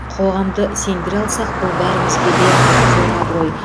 қоғамды сендіре алсақ бұл бәрімізге де зор абырой